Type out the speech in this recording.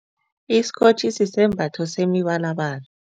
Isikotjhi sisembatho semibalabala.